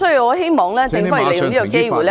我希望政府利用這個機會......